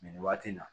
Nin waati in na